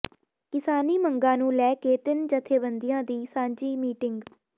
ਕਿਸਾਨੀ ਮੰਗਾਂ ਨੂੰ ਲੈ ਕੇ ਤਿੰਨ ਜਥੇਬੰਦੀਆਂ ਦੀ ਸਾਂਝੀ ਮੀਟਿੰਗ